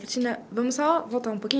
Cristina, vamos só voltar um pouquinho.